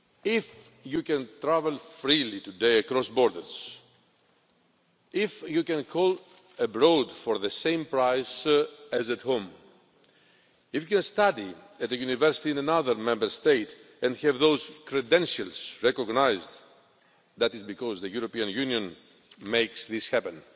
If you can travel freely today across borders, if you can call abroad for the same price as at home, if you study at a university in another Member State and have those credentials recognised, that is because the European Union makes this happen.